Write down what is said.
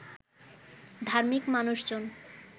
ধার্মিক মানুষজন